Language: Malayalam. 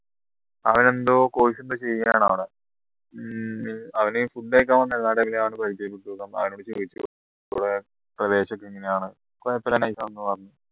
അവൻ എന്തോ course ഇപ്പോ ചെയ്യണ അവിടെ ഹും അവൻ food കഴിക്കാൻ വന്ന പരിചയപ്പെട്ട് അവനോട് ചോദിച്ചു ഇവിടെ പ്രദേശത്ത് എങ്ങനെയാണ് കുഴപ്പമില്ല